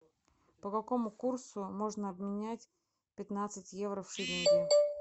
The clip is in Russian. по какому курсу можно обменять пятнадцать евро в шиллинги